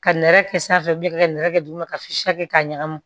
Ka nɛrɛ kɛ sanfɛ ka nɛrɛ kɛ tuguni ka kɛ k'a ɲagami